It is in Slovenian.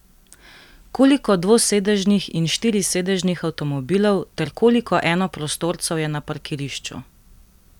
Koliko dvosedežnih in štirisedežnih avtomobilov ter koliko enoprostorcev je na parkirišču?